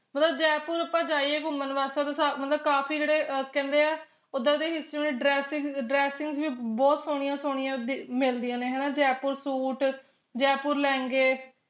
ਮਤਲਬ ਜੈਪੁਰ ਆਪਾ ਜਾਈਏ ਘੁੰਮਣ ਆਸਤੇ ਮਤਲਬ ਕਾਫੀ ਜਿਹੜੇ ਕਹਿੰਦੇ ਆ ਉੱਦਾਂ ਦੀ dressing ਵੀ ਬਹੁਤ ਸੋਹਣੀਆਂ ਸੋਹਣਿਆ ਵੀ ਮਿਲਦੀਆਂ ਨੇ ਹਣਾ ਜੈਪੁਰ ਸੂਟ ਜੈਪੁਰ ਲਹਿੰਗੇ